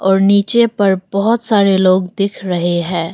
और नीचे पर बहोत सारे लोग दिख रहे हैं।